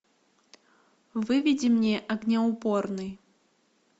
выведи мне огнеупорный